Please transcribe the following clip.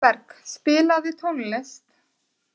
Vilberg, spilaðu tónlist.